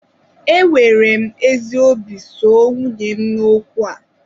Enwere m ezi obi soo nwunye m n'okwu a